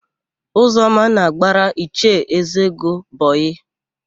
Ụzọma na-agbara Ichie Ezego bọyịị.